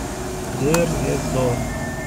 дейр эз зор